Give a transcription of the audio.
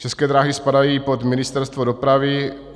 České dráhy spadají pod Ministerstvo dopravy.